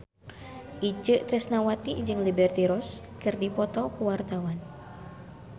Itje Tresnawati jeung Liberty Ross keur dipoto ku wartawan